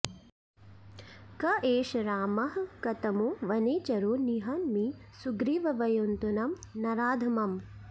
क एष रामः कतमो वनेचरो निहन्मि सुग्रीवयुतं नराधमम्